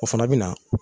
O fana bɛ na